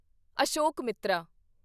ਅਸ਼ੋਕਮਿੱਤਰਾਂ